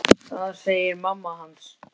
Það segir mamma hans.